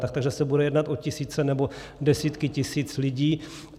Takže se bude jednat o tisíce nebo desítky tisíc lidí.